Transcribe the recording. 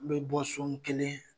N bɛ bɔ so n kelen